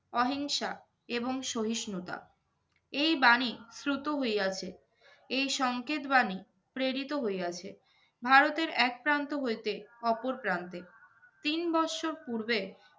অহিংসা এবং সহিষ্ণুতা। এই বাণী শ্রুত হইয়াছে, এই সংকেত বাণী প্রেরিত হইয়াছে, ভারতের এক প্রান্ত হইতে ওপর প্রান্তে। তিন বৎসর পূর্বে